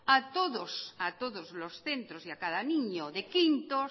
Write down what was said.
a todos a todos los centros y a cada niño de quinto